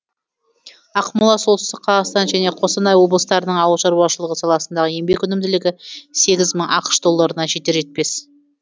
ақмола солтүстік қазақстан және қостанай облыстарының ауыл шаруашылығы саласындағы еңбек өнімділігі сегіз мың ақш долларына жетер жетпес